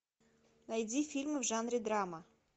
найди фильмы в жанре драма